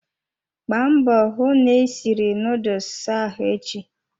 Gbaa mbọ hụ na ị siri nuduls ahụ echi!